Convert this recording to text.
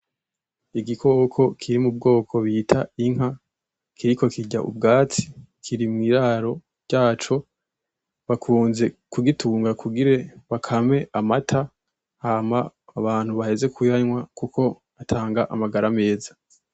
Igikoko kiri mubwoko bita inka , kiriko kirya ubwatsi ,Kiri mwiraro ryaco ,bakunze kugitunga kugire bakame amata , hama abantu baheze kuyanwa kuko atanga amagara meza.